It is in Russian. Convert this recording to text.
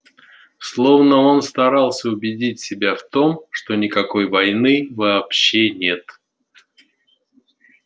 словно он старался убедить себя в том что никакой войны вообще нет